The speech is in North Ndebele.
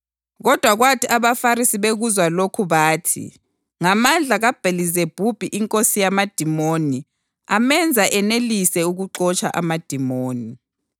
Kodwa kwathi abaFarisi bekuzwa lokhu bathi, “Ngamandla kaBhelizebhubhi inkosi yamadimoni amenza enelise ukuxotsha amadimoni.”